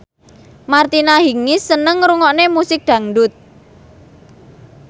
Martina Hingis seneng ngrungokne musik dangdut